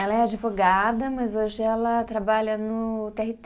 Ela é advogada, mas hoje ela trabalha no Tê Erre Tê.